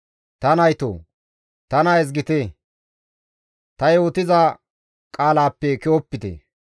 Ta naytoo! Tana ezgite; ta yootiza qaalaappe ke7opite.